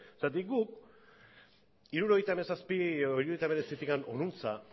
zergatik guk hirurogeita hamazazpi edo hirurogeita hemeretzi honuntza